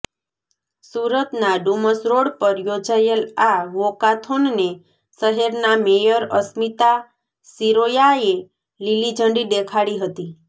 સુરતના ડુમસ રોડ પર યોજાયેલ આ વોકાથોનને શહેરના મેયર અસ્મિતા શિરોયાએ લીલી ઝંડી દેખાડી હતી